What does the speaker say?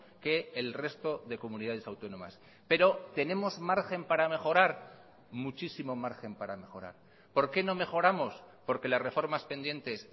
que el resto de comunidades autónomas pero tenemos margen para mejorar muchísimo margen para mejorar por qué no mejoramos porque las reformas pendientes